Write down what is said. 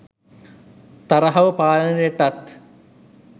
තරහව පාලනයටත්